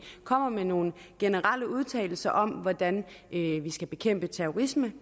kommer med nogle generelle udtalelser om hvordan vi vi skal bekæmpe terrorisme